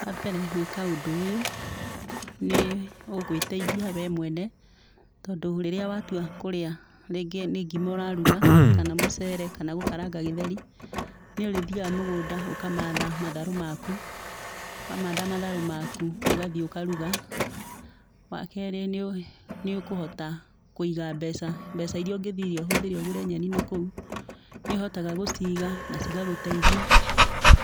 Wa mbere gwĩka ũndũ ũyũ, nĩ ũgũĩteithia we mwene, tondũ rĩrĩa watua kũrĩa, rĩngĩ nĩ ngima ũraruga, kana mũcere kana gũkaranga gĩtheri, nĩũrĩthiaga mũgũnda ũkamatha matharũ maku, wamatha matharũ maku, ũgathiĩ ũkaruga. Wa kerĩ nĩũkũhota Kũiga mbeca. Mbeca iria ũngĩthire ũhũthĩre ũgũre nyeni nakũu, nĩ ũhotaga gũciiga, na cigagũteithia,